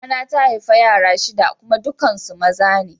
Mama na ta haifa yara shida kuma dukan ku maza ne.